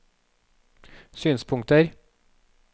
synspunkter